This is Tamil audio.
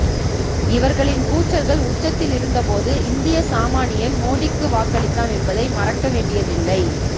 இவர்களின் கூச்சல்கள் உச்சத்தில் இருந்தபோது இந்திய சாமானியன் மோதிக்கு வாக்களித்தான் என்பதை மறக்கவேண்டியதில்லை